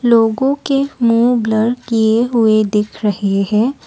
लोगों के मुंह ब्लर किए हुए दिख रहे हैं।